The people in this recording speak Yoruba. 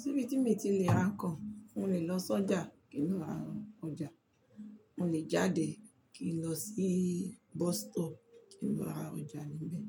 Síbí tí mi ti lè ra nǹkan, mo lè lọ sọ́jà kín ra ọjà, mo lè jáde kí n lọ sí bus stop kí n lọ ra ọjà níbẹ̀,